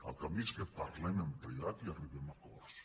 el camí és que en parlem en privat i arribem a acords